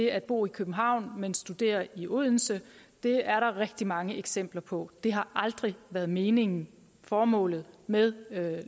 at bo i københavn men at studere i odense det er der rigtig mange eksempler på det har aldrig været meningen og formålet med